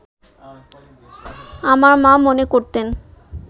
আমার মা মনে করতেন